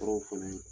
Tɔɔrɔw fana